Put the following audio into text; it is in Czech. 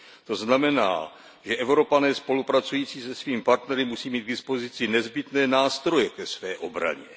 To znamená, že Evropané spolupracující se svými partnery musí mít k dispozici nezbytné nástroje ke své obraně.